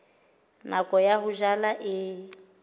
nako ya ho jala e